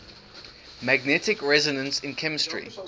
magnetic resonance in chemistry